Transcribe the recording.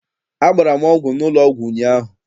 Agbara m ọgwụ n'ụlọ ọgwụ ụnyaahụ.